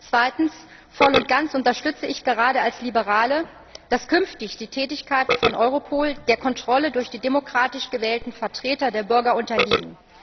Zweitens Voll und ganz unterstütze ich gerade als Liberale, dass künftig die Tätigkeiten von Europol der Kontrolle durch die demokratisch gewählten Vertreter der Bürger unterliegen.